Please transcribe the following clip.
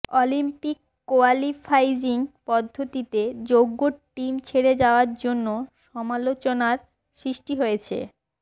Olympic qualifying পদ্ধতিতে যোগ্য team ছেড়ে যাওয়ার জন্য সমালোচনার সৃষ্টি হয়েছে